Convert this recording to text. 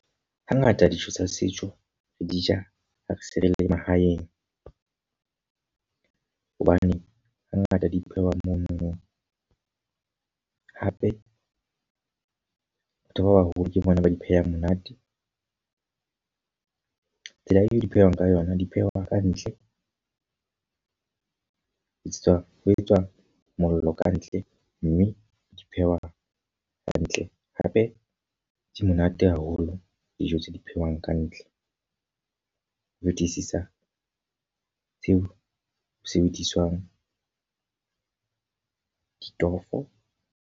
Hangata dijo tsa setso re di ja ha se re le mahaeng. Hobane ha ngata di phehwa mono. Hape, batho ba baholo ke bona ba di phehang. Mona tsela eo di phehwang ka yona, di phehwa ka ntle. Le tse tswang ho etswa mollo kantle mme di phehwa hantle. Hape di monate haholo dijo tse di phehwang ka ntle ho fetisisa tseo o sebediswang ditofo.